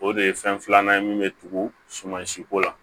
O de ye fɛn filanan ye min bɛ tugu sumansi ko la